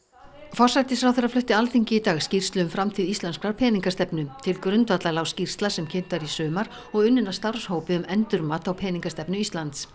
forsætisráðherra flutti Alþingi í dag skýrslu um framtíð íslenskrar peningastefnu til grundvallar lá skýrsla sem kynnt var í sumar og unnin af starfshópi um endurmat á peningastefnu Íslands